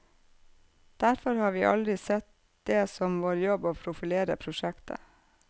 Derfor har vi aldri sett det som vår jobb å profilere prosjektet.